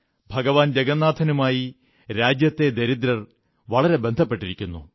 ഭഗവാൻ ജഗന്നാഥനുമായി രാജ്യത്തെ ദരിദ്രർ വളരെ ബന്ധപ്പെട്ടിരിക്കുന്നു